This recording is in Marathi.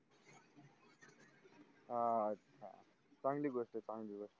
हा अच्छा चांगली गोष्ट चांगली गोष्ट